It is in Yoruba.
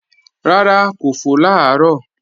Rárá kò fò làárọ̀